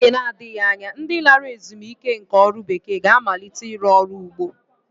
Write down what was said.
N'oge na-adịghị anya, ndi lara ezumike nká ọrụ bekee ga-amalite ịrụ ọrụ ugbo